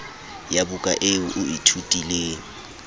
ya buka eo o ithutileng